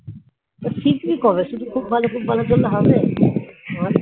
শিখবি কবে শুধু খুব ভালো খুব ভালো করলে হবে বল